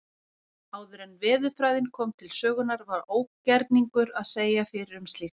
Áður en veðurfræðin kom til sögunnar var ógerningur að segja fyrir um slíkt.